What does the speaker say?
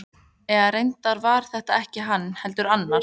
Eða reyndar var það ekki hann, heldur annar.